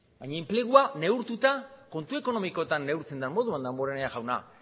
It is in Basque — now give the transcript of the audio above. baina enplegua neurtuta kontu ekonomikoetan neurtzen den moduan damborenea jauna